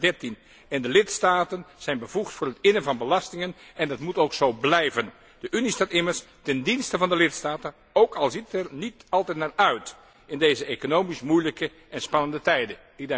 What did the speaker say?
2013. De lidstaten zijn bevoegd voor het innen van belastingen en dat moet ook zo blijven. De Unie staat immers ten dienste van de lidstaten, ook al ziet het er niet altijd naar uit in deze economisch moeilijke en spannende tijden.